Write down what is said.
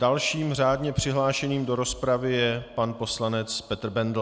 Dalším řádně přihlášeným do rozpravy je pan poslanec Petr Bendl.